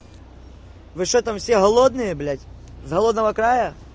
вы что там все голодные блять с голодного края